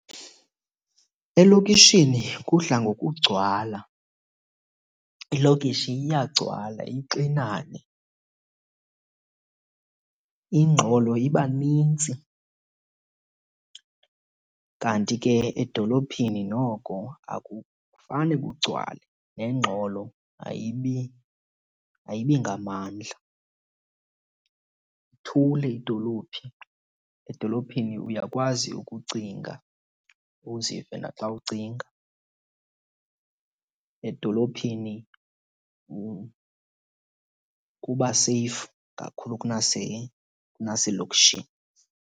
Elokishini kudla ngokugcwala. Ilokishi iyagcwala ixinane, ingxolo iba nintsi. Kanti ke edolophini noko akufane kugcwale nengxolo ayibi, ayibi ngamandla. Ithule idolophi, edolophini uyakwazi ukucinga uzive naxa ucinga. Edolophini kuba seyifu kakhulu kunaselokishini.